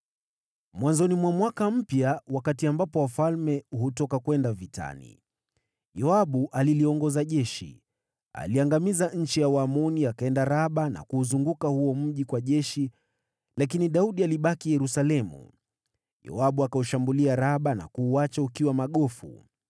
Mwanzoni mwa mwaka mpya, wakati ambapo wafalme huenda vitani, Yoabu aliliongoza jeshi. Aliangamiza nchi ya Waamoni, na akaenda Raba na kuuzingira, lakini Daudi alibaki Yerusalemu. Yoabu akashambulia Raba na kuuacha ukiwa magofu.